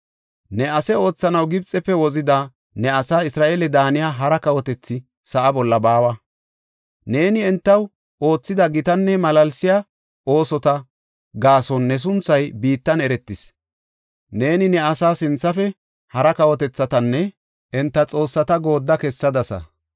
Ne ase oothanaw Gibxefe wozida ne asaa Isra7eele daaniya hara kawotethi sa7a bolla baawa. Neeni entaw oothida gitanne malaalsiya oosota gaason ne sunthay biittan eretis. Neeni ne asa sinthafe hara kawotethatanne enta xoossata goodda kessadasa.